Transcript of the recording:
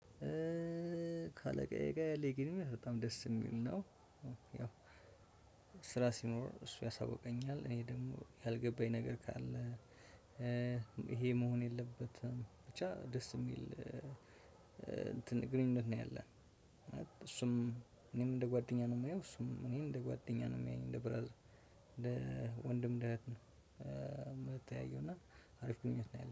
ካለቃዬ ጋር ያለኝ ግንኙነት በጣም ደስ የሚል ነው። ያው ስራ ሲኖር እሱ ያሳውቀኛል እኔ ደግሞ ያልገባኝ ነገር ካለ። ይሄ መሆን የለበትም ብቻ ደስ የሚል እንትን ግንኙነት ነው ያለን። እሱም እኔም እንደ ጓደኛ ነው የማየው እሱም እኔን እንደ ጓደኛ ነው የሚያየኝ እንደ ብራዘር እንደ ወንድም እንደ እህት ነው የምንተያየው። እና አሪፍ ግንኙነት ነው ያለን